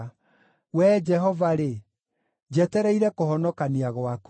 “Wee Jehova-rĩ, njetereire kũhonokania gwaku.